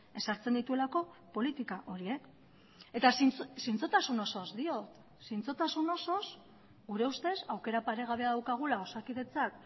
ezartzen dituelako politika horiek eta zintzotasun osoz diot zintzotasun osoz gure ustez aukera paregabea daukagula osakidetzak